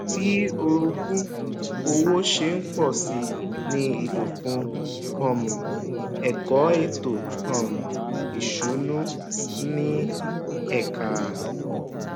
bí orogún òwò ṣe ń pọ sí ní ìlò fún um ẹkọ ètò um ìsúnú ń ní ẹka